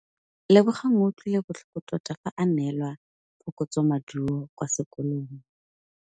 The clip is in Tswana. Lebogang o utlwile botlhoko tota fa a neelwa phokotsômaduô kwa sekolong.